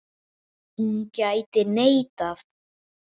Hún gæti neitað.